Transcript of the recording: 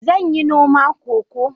Zan yi noma Cocoa